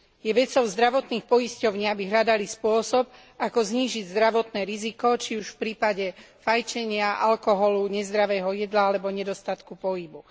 Je vecou zdravotných poisťovní, aby hľadali spôsob, ako znížiť zdravotné riziko, či už v prípade fajčenia, alkoholu, nezdravého jedla alebo nedostatku pohybu.